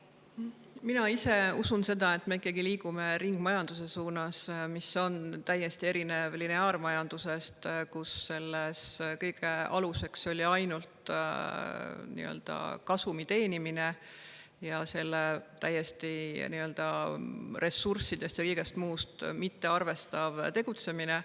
Mina ise usun seda, et me ikkagi liigume ringmajanduse suunas, mis on täiesti erinev lineaarmajandusest, kus kõige aluseks on ainult kasumi teenimine ning ressursse ja kõike muud mittearvestav tegutsemine.